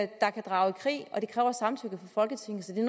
der kan drage i krig og det kræver samtykke fra folketinget så det